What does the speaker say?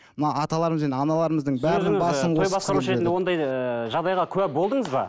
мына аталарымыз бен аналарымыздың ондай ііі жағдайға куә болдыңыз ба